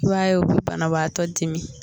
I b'a ye u bɛ banabaatɔ dimi.